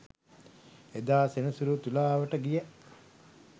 එදා සෙනසුරු තුලාවට ගිය